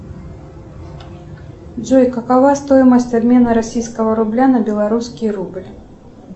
джой какова стоимость обмена российского рубля на белорусский рубль